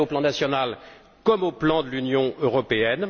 C'est vrai au plan national comme au plan de l'Union européenne.